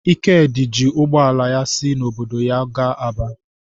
Ikedi ji ụgbọ ala ya si n’obodo ya gaa Aba.